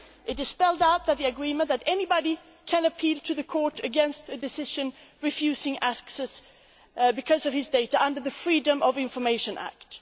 It is spelled out in the agreement that anybody can appeal to the Court against a decision to refuse access because of his or her data under the Freedom of Information